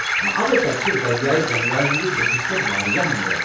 اوہ، تتہِ چھِ دٔریاے گنگایہ ہندِس بٔٹھس پٮ۪ٹھ واریاہ مندر۔